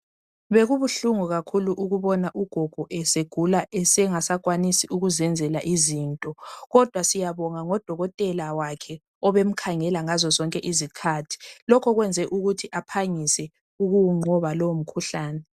Bekubuhlungu kakhulu ukubona ugogo esegula engasenelisi ukuzenzela izinto. Kodwa siyabonga ngodokotela wakhe obemkhangela ngazozonke izikhathi lokho kwenze aphangise ukuwhnqoba lowo mkhuhlane.